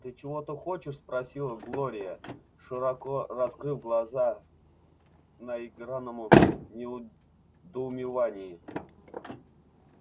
ты чего-то хочешь спросила глория широко раскрыв глаза в наигранном недоумении